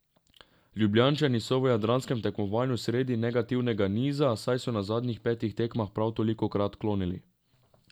Ljubljančani so v jadranskem tekmovanju sredi negativnega niza, saj so na zadnjih petih tekmah prav tolikokrat klonili.